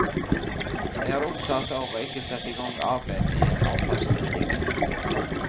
Jeg er opptatt av å ikke sette i gang arbeid med en avfallsmelding nå.